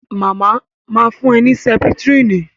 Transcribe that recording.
Màmá ma fún ẹ ní Sẹ́pítírínì